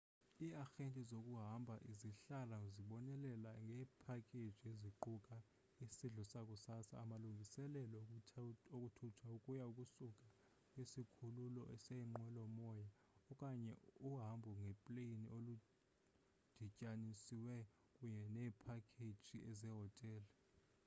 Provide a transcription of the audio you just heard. iiarhente zokuhamba zihlala zibonelela ngeephakeji eziquka isidlo sakusasa amalungiselelo okuthuthwa ukuya / ukusuka kwisikhululo seenqwelo-moya okanye uhambo ngepleyini oludityanisiweyo kunye neephakheji zehotele